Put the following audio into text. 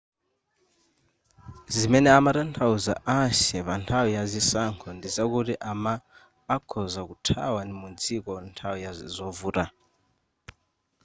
zimene amatanthauza ahsieh panthawi ya zisankho ndizakuti a ma akhoza kuthawa mu dziko nthawi ya zovuta